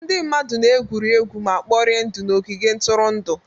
Ndị mmadụ na-egwuri egwu ma kporie ndụ n'ogige ntụrụndụ.